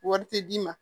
Wari tɛ d'i ma